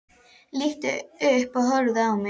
Lítur upp og horfir á mig.